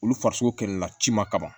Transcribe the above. Olu farisogo kɛlɛ na ciman kama